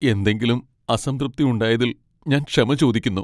എന്തെങ്കിലും അസംതൃപ്തി ഉണ്ടായതിൽ ഞാൻ ക്ഷമ ചോദിക്കുന്നു.